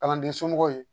Kalanden somɔgɔw ye